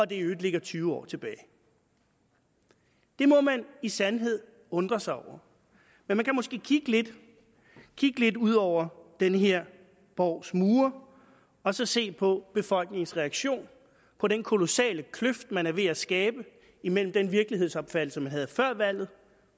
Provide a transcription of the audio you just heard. det i øvrigt ligger tyve år tilbage det må man i sandhed undre sig over men man kan måske kigge lidt kigge lidt ud over den her borgs mure og så se på befolkningens reaktion på den kolossale kløft man er ved at skabe imellem den virkelighedsopfattelse man havde før valget